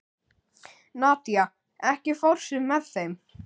Nadía, ekki fórstu með þeim?